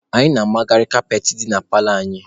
Anyị na-amagharị kaapetị dị na paalọ anyị.